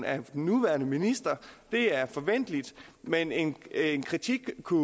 af den nuværende minister det er forventeligt men en kritik kunne